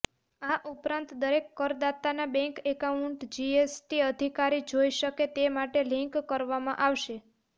આ ઉપરાંત દરેક કરદાતાના બેન્ક એકાઉન્ટ જીએસટી અધિકારી જોઇ શકે તે માટે લિન્ક કરવામાં આવશે